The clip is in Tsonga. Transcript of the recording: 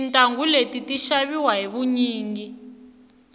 tintangu leti ti xaviwa hi vunyingi